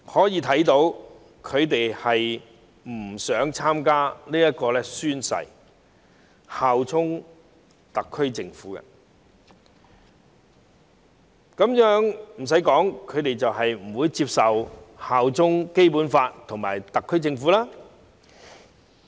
由此可見，他們不想宣誓效忠特區政府；不用我多說，他們是不會接受效忠《基本法》和特區政府的。